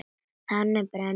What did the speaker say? Þannig brenn ég.